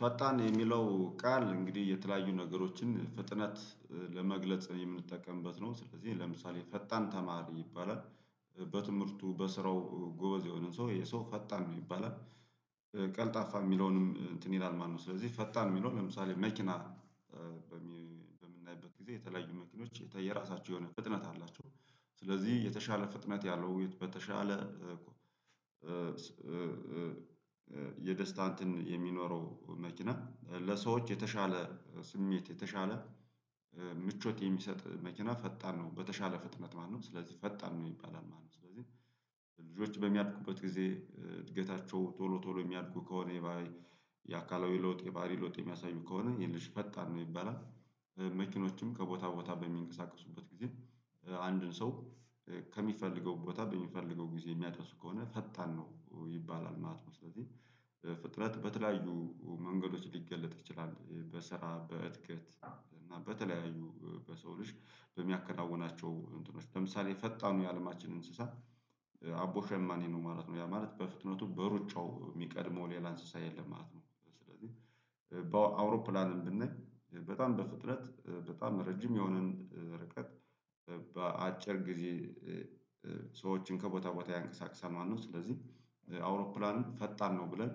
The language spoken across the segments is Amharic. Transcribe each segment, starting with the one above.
ፈጣን የሚለው ቃል እንግዲህ የተለያዩ ነገሮችን ፍጥነት ለመግለጽ የምንጠቀምበት ነው ስለዚህ ለምሳሌ ፈጣን ተማሪ ይባላል በትምህርቱ በስራው ጎበዝ የሆነ ሰው ይሄ ሰው ፈጣን ነው ይባላል ቀልጣፋ የሚለውንም እንትን ይላል ማለት ነው። ስለዚህ ፈጣን የሚለው ለምሳሌ መኪና በምናይበት ጊዜ የተለያዩ መኪኖች የየራሳቸው የሆነ ፍጥነት አላቸው። ስለዚህ የተሻለ ፍጥነት ያለው በተሻለ የደስታ እንትን የሚኖረው መኪና ለሰዎች የተሻለ ስሜት የተሻለ ምቾት የሚሰጥ መኪና ፈጣን ነው በተሻለ ፍጥነት ማለት ነው ስለዚህ ፈጣን ነው ይባላል ማለት ነው። ስለዚህ ልጆች በሚያድጉበት ጊዜ እድገታቸው ቶሎ ቶሎ የሚያድጉ ከሆነ የባህሪ የአካላዊ ለውጥ የባህሪ ለውጥ የሚያሳዩ ከሆነ የልጅ ፈጣን ነው የሚባል መኪኖችም ከቦታ ቦታ በሚንቀሳቀሱበት ጊዜ አንድን ሰው ከሚፈልገው ቦታ በሚፈልገው ጊዜ የሚያደርሱ ከሆነ ፈጣን ነው ይባላል ማለት ነው። ስለዚህ ፍጥነት በተለያዩ መንገዶች ሊገለጥ ይችላል በስራ በእድገት እና በተለያዩ በሰው ልጅ በሚያከናውናቸው እንትኖች ለምሳሌ ፈጣኑ የአለማችን እንስሳ አቦ ሸማኔ ነው ማለት ነው ያ ማለት በፍጥነቱ በሩጫው የሚቀድመው ሌላ እንስሳ የለም ማለት ነው። ስለዚህ በአውሮፕላንም ብናይ በጣም በፍጥነት በጣም ረጅም የሆነን ርቀት በአጭር ጊዜ ሰዎችን ከቦታ ቦታ ያንቀሳቅሳል ማለት ነው። ስለዚህ አውሮፕላን ፈጣን ነው ብለን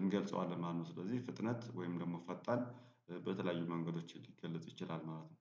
እንገልጸዋለን ማለት ነው። ስለዚህ ፍጥነት ወይም ደግሞ ፈጣን በተለያዩ መንገዶች ሊገለጽ ይችላል ማለት ነው